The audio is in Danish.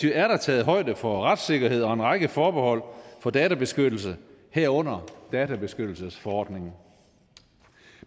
er der taget højde for retssikkerhed og en række forbehold for databeskyttelse herunder databeskyttelsesforordningen